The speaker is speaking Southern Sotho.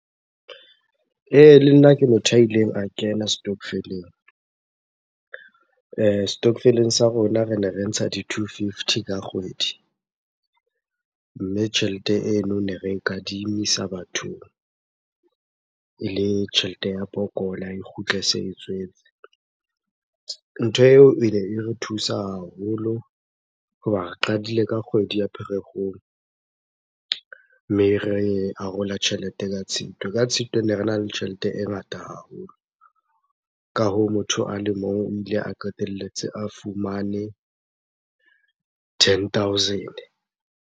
Ee, le nna ke motho a ileng a kena stokvel-eng. Stockvel-eng sa rona rene re ntsha di-two-fifty ka kgwedi. Mme tjhelete eno ne re kadimisa bathong ele tjhelete ya pokola, e kgutle se e tswetse. Ntho eo ene e re thusa haholo hoba re qadile ka kgwedi ya Pherekgong, mme re arola tjhelete ka Tshitwe. Ka Tshitwe, ne rena le tjhelete e ngata haholo. Ka hoo motho a le mong o ile a qetelletse a fumane ten thousand.